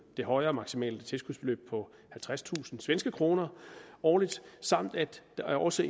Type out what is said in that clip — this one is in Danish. det højere maksimale tilskudsbeløb på halvtredstusind svenske kroner årligt samt at der også